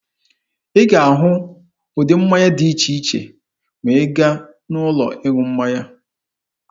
Ị ga-ahụ ụdị mmanya dị iche iche ma ị gaa n'ụlọ ịṅụ mmanya.